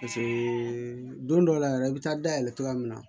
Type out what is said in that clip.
don dɔw la yɛrɛ i bɛ taa dayɛlɛ cogoya min na